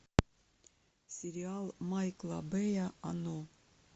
сериал майкла бэя оно